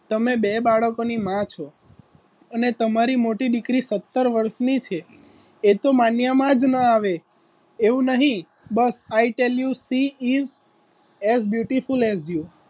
તમે બે બાળકોની માં છો અને તમારી મોટી દીકરી સતર વર્ષની છે એ તો માન્યામાં જ ન આવે એવું નહિ બસ i tell you see is as beautiful as you